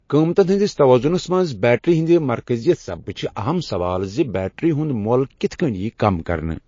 قۭمتن ہندِس تووضنس منز بیٹری ہندِ مركزِیت سببہٕ چھ اہم سوال زِ بیٹری ہٗند مۄل کتھ کٔنۍ ییہ كم كرنہٕ؟